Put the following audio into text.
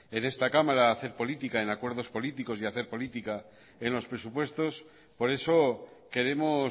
en esta cámara a hacer política en acuerdos políticos y hacer política en los presupuestos por eso queremos